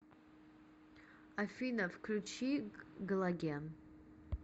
афина включи галоген